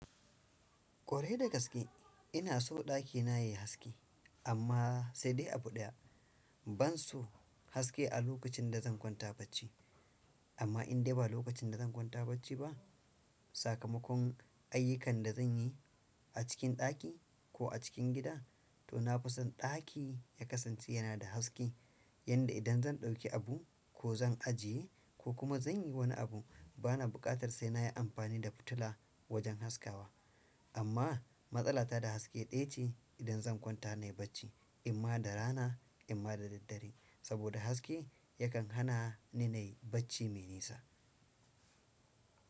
Kware da gaske ina so dakina yayi haske amma sai dai abu ɗaya. Ban so haske a lokacin da zan kwanta bacci. Amma in dai ba lokacin da zan kwanta bacci ba, sakamakon ayyukan da zanyi a cikin ɗaki ko a cikin gida to na fi son daki ya kasance yana da haske. Yanda idan zan dauki abu ko zan ajiye ko kuma zanyi wani abun bana bukatan sai nayi anfani da futula wajan haskawa amma matsala ta da haske daya ce idan zan kwanta nayi bacci, imma da rana imma da daddare saboda haske yakan hana ni nayi bacci me nisa.